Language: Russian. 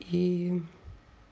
ии